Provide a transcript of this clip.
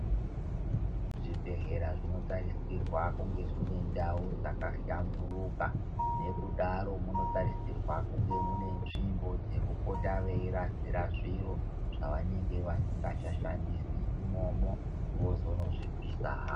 Zvibhedhlera zvinotarisirwa kunga zvine ndau dzakahlamburuka. Nekudaro munotarisirwa kunge mune nzvimbo dzekupota veirasira zviro zvavanenge vasingachashandisi imomo vozonozvipisa havo.